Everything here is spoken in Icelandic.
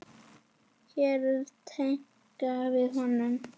Hér er tillaga að honum.